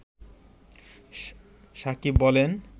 সাকিব বলেন